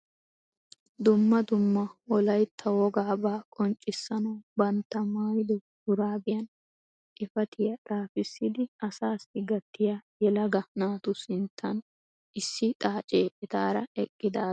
Dumma dumma wollaytta wogaabaa qonccisanawu bantta maayido shuurabaiyaan xifatiyaa xaafisidi asaasi gattiyaa yelegaa naatu sinttaan issi xaacee etaara eqqidaage beettees.